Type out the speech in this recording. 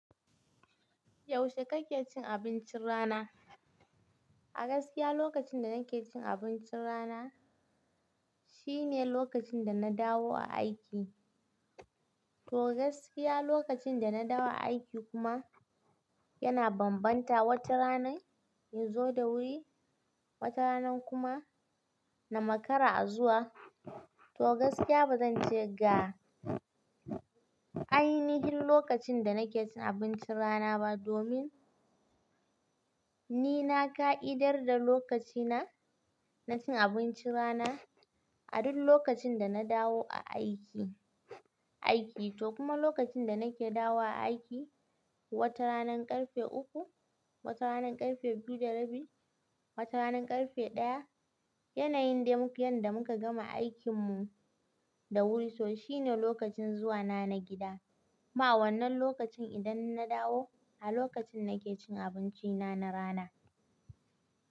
Yaushe kake cin abincin rana? A gaskiya lokacin da nake cin abincin rana shine lokacin da na dawo aiki. To gaskiya lokacin da na dawo aiki kuma yana bambanta, wata ranan in zo da wuri, wata rana kuma na makara a zuwa. To gaskiya ba zan ce ga ainihin lokacin da nake cin abincin rana ba domin ni na ƙa'idar da lokacina na cin abincin rana a duk lokacin da na dawo a aiki, aiki. To kuma lokacin da nake dawo aiki, wata rananan ƙarfe uku, wata rananan ƙarfe biyu da rabi, wata rana ƙarfe ɗaya. Yanayin da muk yadda muka gama aikinmu da wuri, to shi ne lokacin zuwana na gida. Kuma wannan lokacin idan na dawo a lokacin nake cin abinci na, na rana.